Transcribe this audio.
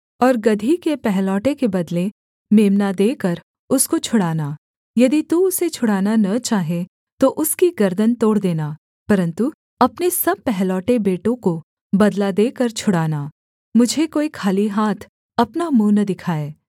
और गदही के पहलौठे के बदले मेम्ना देकर उसको छुड़ाना यदि तू उसे छुड़ाना न चाहे तो उसकी गर्दन तोड़ देना परन्तु अपने सब पहलौठे बेटों को बदला देकर छुड़ाना मुझे कोई खाली हाथ अपना मुँह न दिखाए